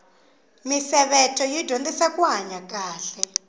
misevetho yi dyondzisa kuhanya kahle